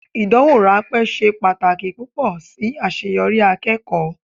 Ìdánwò ráńpẹ́ ṣe pàtàkì púpọ̀ sí àṣeyọrí akẹ́kọ̀ọ́.